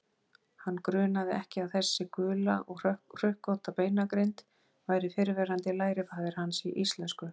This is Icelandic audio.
Hann grunaði ekki að þessi gula og hrukkótta beinagrind væri fyrrverandi lærifaðir hans í íslensku.